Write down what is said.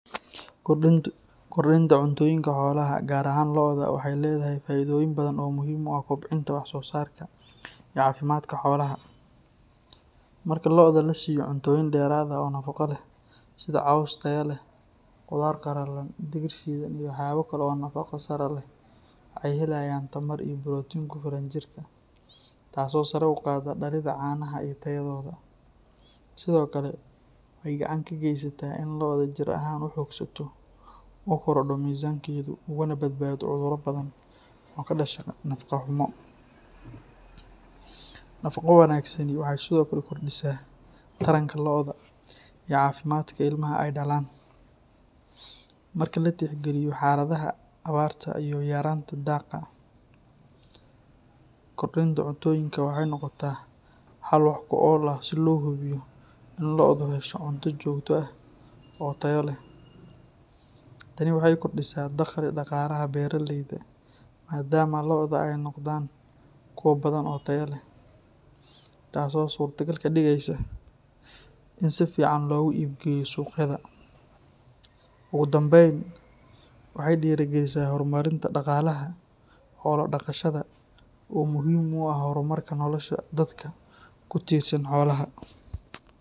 Kordinta cuntooyinka xoolaha, gaar ahaan lo’da, waxay leedahay faa’iidooyin badan oo muhiim u ah kobcinta wax-soosaarka iyo caafimaadka xoolaha. Marka lo’da la siiyo cuntooyin dheeraad ah oo nafaqo leh sida caws tayo leh, qudaar qalalan, digir shiidan, iyo waxyaabo kale oo nafaqo sare leh, waxay helayaan tamar iyo borotiin ku filan jirka, taasoo sare u qaadda dhalidda caanaha iyo tayadooda. Sidoo kale, waxay gacan ka geysataa in lo’da jir ahaan u xoogsato, u korodho miisaankeedu, ugana badbaado cudurro badan oo ka dhasha nafaqo-xumo. Nafaqo wanaagsani waxay sidoo kale kordhisaa taranka lo’da iyo caafimaadka ilmaha ay dhalaan. Marka la tixgeliyo xaaladaha abaarta iyo yaraanta daaqa, kordinta cuntooyinka waxay noqotaa xal wax ku ool ah si loo hubiyo in lo’du hesho cunto joogto ah oo tayo leh. Tani waxay kordhisaa dakhliga dhaqaalaha beeralayda maadaama lo’da ay noqdaan kuwo badan oo tayo leh, taasoo suurtagal ka dhigaysa in si fiican loogu iibgeeyo suuqyada. Ugu dambayn, waxay dhiirrigelisaa horumarinta dhaqanka xoolo-dhaqashada oo muhiim u ah horumarka nolosha dadka ku tiirsan xoolaha.